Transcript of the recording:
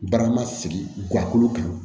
Barama sigi guwa kan